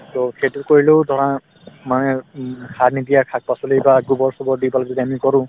to সেইটো কৰিলেও ধৰা মানে উম সাৰ নিদিয়া শাক-পাচলি গোবৰ-চোবৰ দি পেলাই যদি আমি কৰো